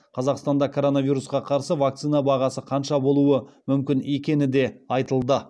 қазақстанда коронавирусқа қарсы вакцина бағасы қанша болуы мүмкін екені де айтылды